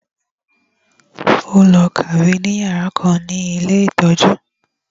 Ó lọ kàwé ní yàrá kan ní ilé ìtọ́jú